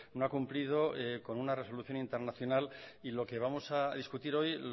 no ha cumplido con una resolución internacional y lo que vamos a discutir hoy